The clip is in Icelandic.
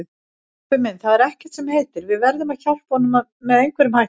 Kobbi minn, það er ekkert sem heitir, við verðum að hjálpa honum með einhverjum hætti